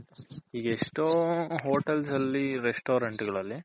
ಈಗ ಎಷ್ಟೋ Hotels ಅಲ್ಲಿ Restaurant ಗಳಲ್ಲಿ